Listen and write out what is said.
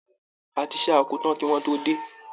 A ti ṣá oko tán kí wọ́n tó dé.